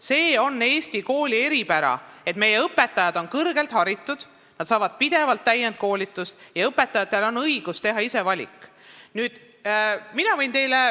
See on Eesti kooli eripära, et meie õpetajad on kõrgelt haritud, nad saavad pidevalt täienduskoolitust ja neil on õigus ise valikuid teha.